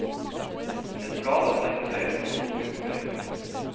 Et blad å strekke seg etter for norske kolleger.